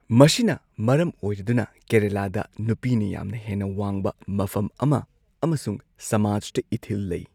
ꯃꯁꯤꯅ ꯃꯔꯝ ꯑꯣꯏꯔꯗꯨꯅ, ꯀꯦꯔꯂꯥꯗꯥ ꯅꯨꯄꯤꯅ ꯌꯥꯝꯅ ꯍꯦꯟꯅ ꯋꯥꯡꯕ ꯃꯐꯝ ꯑꯃ ꯑꯃꯁꯨꯡ ꯁꯃꯥꯖꯇ ꯏꯊꯤꯜ ꯂꯩ꯫